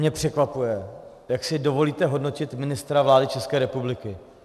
Mě překvapuje, jak si dovolíte hodnotit ministra vlády České republiky.